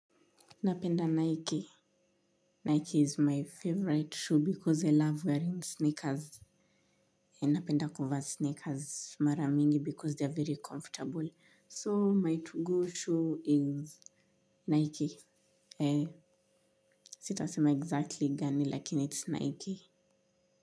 Napenda Nike. Nike is my favorite shoe because I love wearing sneakers. Napenda kuvaa sneakers mara mingi because they are very comfortable. So my to-go shoe is Nike. Sitasema exactly gani lakin it's Nike.